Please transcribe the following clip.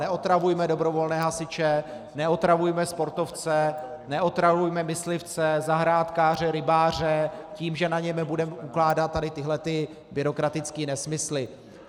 Neotravujme dobrovolné hasiče, neotravujme sportovce, neotravujme myslivce, zahrádkáře, rybáře tím, že na ně budeme ukládat tady tyhlety byrokratické nesmysly.